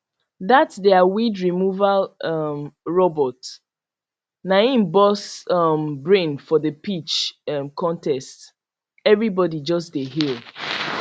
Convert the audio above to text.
that their weedremoval um robot na im burst um brain for the pitch um contest everybody just dey hail